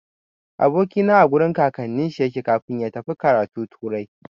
Aboki na a gurin kakannin shi yake kafin ya tafi karatu turai.